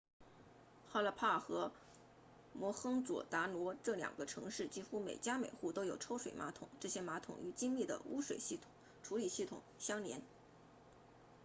哈拉帕 harappa 和摩亨佐达罗 mohenjo-daro 这两个城市几乎每家每户都有抽水马桶这些马桶与精密的污水处理系统相连